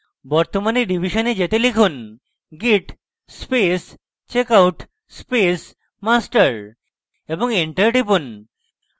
বর্তমান revision যেতে লিখুন: git space checkout space master এবং enter টিপুন